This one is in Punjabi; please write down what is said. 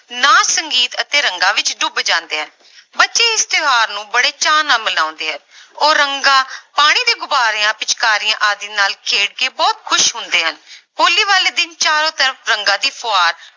ਨਾਚ ਸੰਗੀਤ ਅਤੇ ਰੰਗਾਂ ਵਿੱਚ ਡੁੱਬ ਜਾਂਦੇ ਹਨ ਬੱਚੇ ਇਸ ਤਿਉਹਾਰ ਨੂੰ ਬੜੇ ਚਾਅ ਨਾਲ ਮਨਾਉਂਦੇ ਆ ਉਹ ਰੰਗਾਂ, ਪਾਣੀ ਦੇ ਗੁਬਾਰਿਆਂ, ਪਿਚਕਾਰੀਆਂ ਆਦਿ ਨਾਲ ਖੇਡ ਕੇ ਬਹੁਤ ਖ਼ੁਸ਼ ਹੁੰਦੇ ਹਨ ਹੋਲੀ ਵਾਲੇ ਦਿਨ ਚਾਰੋਂ ਤਰਫ਼ ਰੰਗਾਂ ਦੀ ਫੁਹਾਰ